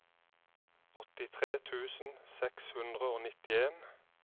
åttitre tusen seks hundre og nittien